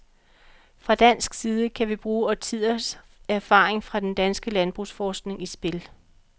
Fra dansk side kan vi bringe årtiers erfaring fra den danske landbrugsforskning i spil.